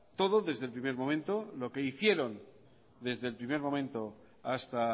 todo desde el primer momento lo que hicieron desde el primer momento hasta